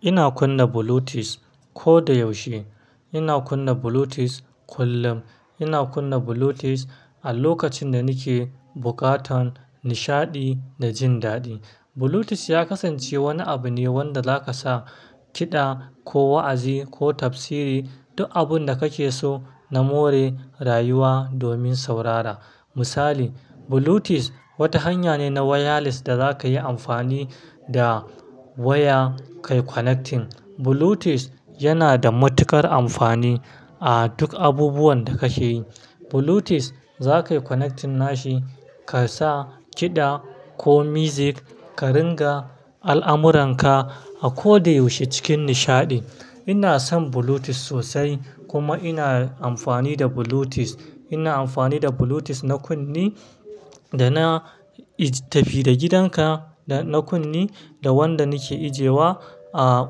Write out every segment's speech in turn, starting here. Ina kunna Bluetooth ko da yaushe. Ina kunna Bluetooth kullum. Ina kunna Bluetooth a lokacin da nake bukatan nishaɗi da jin daɗi. Bluetooth ya kasance wani abu ne wanda zaka sa kiɗa ko wa'azi ko tafsiri, duk abun da kake so na more rayuwa domin saurara. Misali, Bluetooth wata hanya ne na wireless da za ka yi amfani da waya ka yi connecting. Bluetooth yana da matuƙar amfani a duk abubuwan da ka ke yi. Bluetooth za ka yi connecting nashi ka sa kiɗa ko music, ka ringa al'amuranka a ko da yaushe cikin nishaɗi. Ina son Bluetooth sosai kuma ina amfani da Bluetooth. Ina amfani da Bluetooth na kunne da na tafi da gidanka da na kunne da wanda nake ejewa a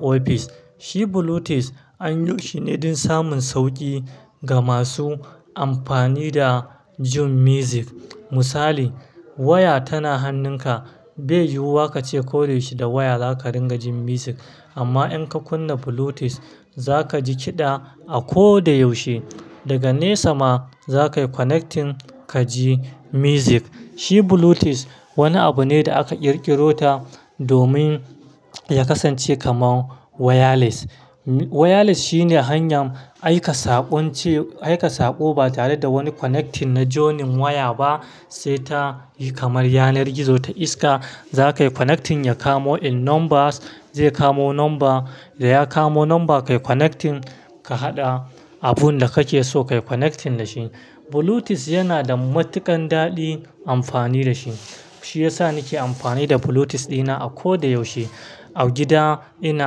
ofis. Shi Bluetooth, anyi shi ne don samun sauƙi ga masu amfani da jin music. Misali, waya tana hannunka, bai yiwuwa kace ko da yaushe da waya za ka ringa jin music. Amma in ka kunna Bluetooth, za ka ji kiɗa a ko da yaushe. Daga nesa ma za ka yi connecting ka ji music. Shi Bluetooth wani abu ne da aka ƙirƙiro ta domin ya kasance kamar wireless. Wireless shine hanyar aika saƙon ce, aika saƙo ba tare da wani connecting na jonen waya ba, sai ta yi kamar yanar gizo ta iska. Za ka yi connecting ya kamo in numbers, zai kamo number, da ya kamo number ka yi connecting ka haɗa abun da kake so ka yi connecting da shi. Bluetooth yana da matuƙan daɗin amfani da shi. Shi ya sa nake amfani da Bluetooth dina a ko da yaushe. A gida ina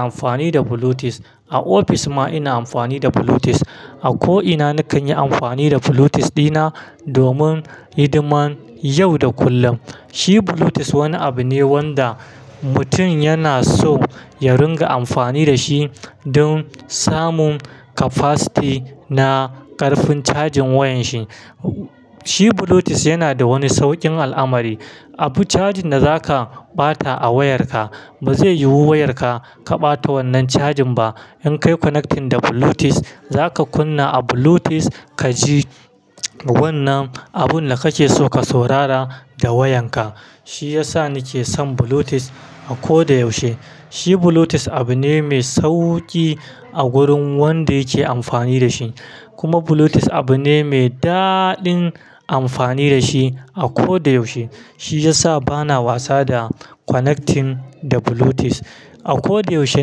amfani da Bluetooth, a ofis ma ina amfani da Bluetooth. A ko ina nakan yi amfani da Bluetooth dina domin hidiman yau da kullum. Shi Bluetooth wani abu ne wanda mutum yana so ya ringa amfani da shi don samun capacity na ƙarfin cajin wayan shi. Shi Bluetooth yana da wani sauƙin al'amari. Abu cajin da za ka ɓata a wayarka ba zai yiwu wayarka ka ɓata wannan cajin ba. In ka yi connecting da Bluetooth, za ka kunna a Bluetooth ka ji wannan abun da kake so ka saurara da wayanka. Shi ya sa nake son Bluetooth a ko da yaushe. Shi Bluetooth abu ne mai sauƙi a gurin wanda yake amfani da shi. Kuma Bluetooth abu ne mai daɗin amfani da shi a ko da yaushe. Shi ya sa bana wasa da connecting da Bluetooth. A ko da yaushe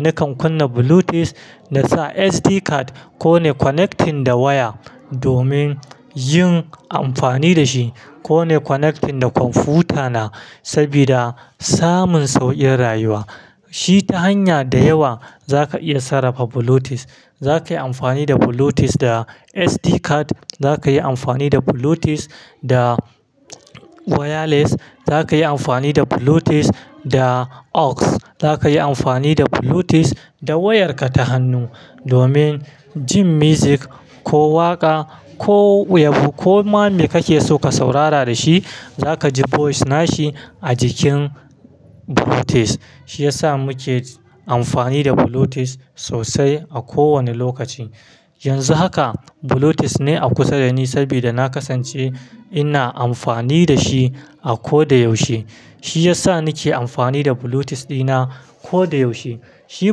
nakan kunna Bluetooth na sa SD card ko ne connecting da waya domin yin amfani da shi ko ne connecting da kwamfutana sabida samun sauƙin rayuwa. Shi ta hanya da yawa za ka iya sarrafa Bluetooth. Za ka yi amfani da Bluetooth da SD card, za ka yi amfani da Bluetooth da wireless, za ka yi amfani da Bluetooth da AUX, za ka yi amfani da Bluetooth da wayarka ta hannu domin jin music ko waƙa ko yabo ko ma me kake so ka saurara da shi, za ka ji voice nashi a jikin Bluetooth. Shi ya sa muke amfani da Bluetooth sosai a kowane lokaci. Yanzu haka Bluetooth ne a kusa da ni sabida na kasance ina amfani da shi a ko da yaushe. Shi ya sa nake amfani da Bluetooth dina ko da yaushe. Shi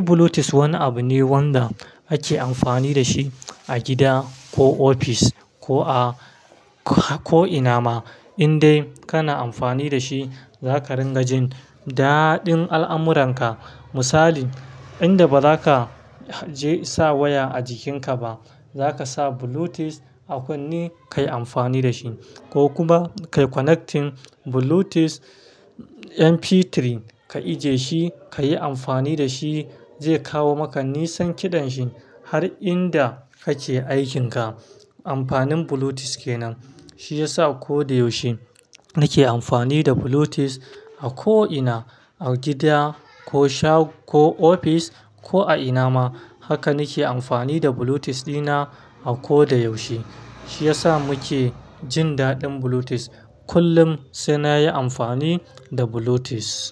Bluetooth wani abu ne wanda ake amfani da shi a gida ko ofis ko a ko ina ma. Indai kana amfani da shi za ka ringa jin daɗin al'amuranka. Misali, inda ba za ka je sa waya a jikinka ba, za ka sa Bluetooth a kunne ka yi amfani da shi ko kuma ka yi connecting Bluetooth MP3 ka ije shi ka yi amfani da shi zai kawo maka nisan kiɗan shi har inda kake aikin ka. Amfanin Bluetooth ke nan. Shi ya sa a ko da yaushe nake amfani da Bluetooth a ko ina, a gida ko shop ko ofis ko a ina ma. Haka nake amfani da Bluetooth dina a ko da yaushe. Shi ya sa muke jin daɗin Bluetooth kullum sai na yi amfani da Bluetooth.